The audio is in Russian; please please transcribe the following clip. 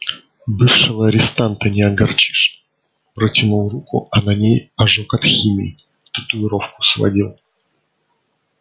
бывшего арестанта не огорчишь протянул руку а на ней ожог от химии татуировку сводил